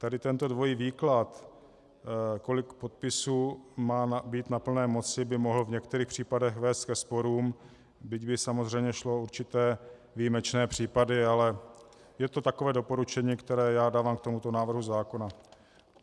Tady tento dvojí výklad, kolik podpisů má být na plné moci, by mohl v některých případech vést ke sporům, byť by samozřejmě šlo o určité výjimečné případy, ale je to takové doporučení, které já dávám k tomuto návrhu zákona.